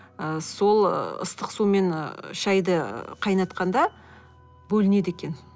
ы сол ыстық сумен шайды қайнатқанда бөлінеді екен